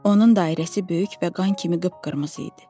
Onun dairəsi böyük və qan kimi qıpqırmızı idi.